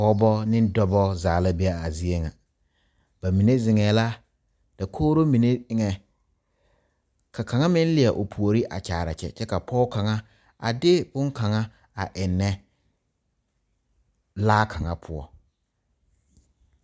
Pɔgebo ne dɔbɔ zaa la be a zie ŋa bamine zeŋɛɛ la dakogri mine eŋɛ ka kaŋa meŋ leɛ o puori a kyaare a kyɛ kyɛ ka pɔge kaŋa a de boŋkaŋa a ennɛ laa kaŋa poɔ.